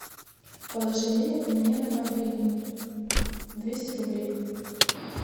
положи денег мне на мобильный двести рублей